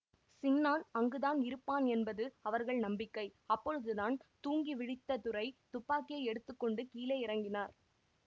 சின்னான் அங்குதான் இருப்பான் என்பது அவர்கள் நம்பிக்கை அப்பொழுதுதான் தூங்கி விழித்த துரை துப்பாக்கியை எடுத்து கொண்டு கீழே இறங்கினார்